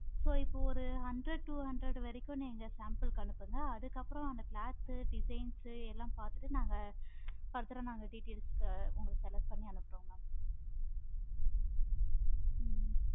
so இப்ப ஒரு hundred two hundred வரைக்கும் sample க்கு அனுப்புங்க. அதுக்கு அப்பறம் அந்த cloth, designs பார்த்துட்டு நாங்க further details க்கு உங்களுக்கு select பண்ணி அனுப்புறோம் mam